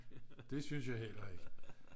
det synes jeg heller ikke